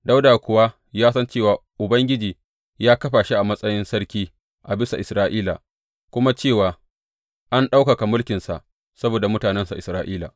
Dawuda kuwa ya san cewa Ubangiji ya kafa shi a matsayin sarki a bisa Isra’ila kuma cewa an ɗaukaka mulkinsa saboda mutanensa Isra’ila.